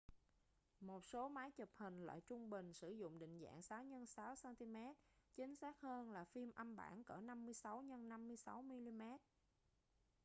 một số máy chụp hình loại trung bình sử dụng định dạng 6x6 cm chính xác hơn là phim âm bản cỡ 56x56 mm